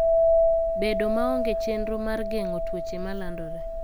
Bedo maonge chenro mar geng'o tuoche malandore.